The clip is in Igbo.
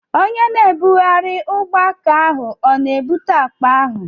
Onye na-ebugharị ugbọaka ahụ ọ na-ebute akpa ahụ?